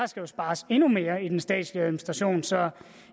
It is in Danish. jo spares endnu mere i den statslige administration så